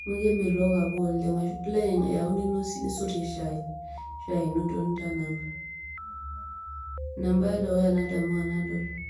amu kemelook apa oleng ashua ilo ayau nisotie shai ,shai ino duoo nitanapa. ina ebae edukuya nadamu tenadol.